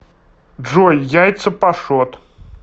джой яйца пашот